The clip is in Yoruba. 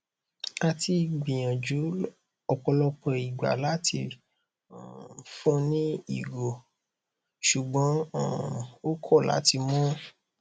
a ti gbiyanju ọpọlọpọ igba lati um fun un ni igo ṣugbọn um o kọ lati mu